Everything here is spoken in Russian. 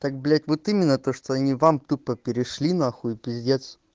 так блять вот именно то что они вам тупо перешли на хуй пиздец